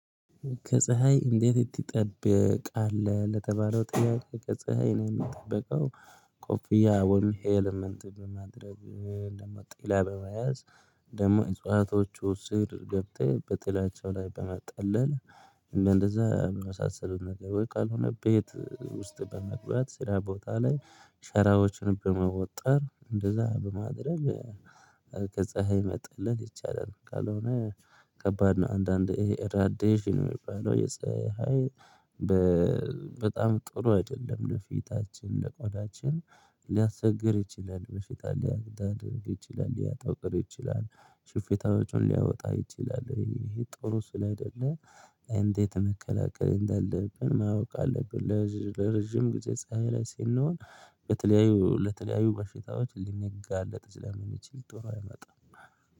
ከፀሀይ እንዴት ትጠበቃለህ? ለተባለው ጥያቄ ከፀሀይ ነው የምጠበቀው ኮፍያ ወይም ሄልመንት በማድረግ ደግሞ ጥላ በመያዝ ደግሞ እጽዋቶቹ ስር ገብተህ በጥላቻው ላይ በማጣለል እንደዛ በሚመሳስለው ነገሮች ካልሆነ ቤት ውስጥ በመግባት ስራ ቦታ ላይ ሸራዎችን በመወጠር እንደዛ በማድረግ ከፀሀይ መጥለል ይቻላል ካልሆነ ከባድ ነው አንዳንድ ይሄ ረዳሽ ነው የሚባለው የፀሀይ በጣም ጥሩ አይደለም ለፊታችን ለቆዳችን ሊያስቸግር ይችላል መፍትሄ ሊያደርግ ይችላል ሊያጠቁር ይችላል ሽፍታዎቹን ሊያወጣ ይችላል ይሄ ጥሩ ስል አይደለም እንዴት መከላከል እንዳለብን ማወቅ አለብን ለረጅም ጊዜ ፀሀይ ላይ ስንሆን በተለያዩ ለተለያዩ በሽታዎች ልንጋለጥ ለምን ይችል ጥሩ አይመጣም